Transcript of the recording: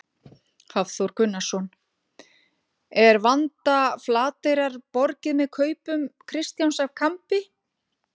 Hafþór Gunnarsson: Er vanda Flateyrar borgið með kaupum Kristjáns af Kambi?